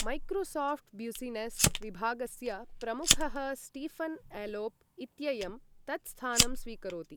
Microsoft business विभागस्य प्रमुखः Stephen Elop इत्ययं तत् स्थानं स्वीकरोति।